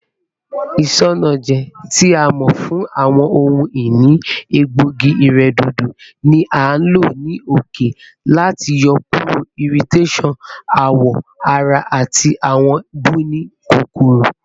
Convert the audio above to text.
Isanaje, ti a mọ fun awọn ohun-ini egboogi-iredodo, ni a lo ni oke lati yọkuro irritations awọ ara ati awọn buni kokoro.